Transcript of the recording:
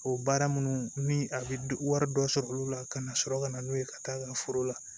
O baara minnu ni a bɛ wari dɔ sɔrɔ olu la ka na sɔrɔ ka na n'u ye ka taa ka foro la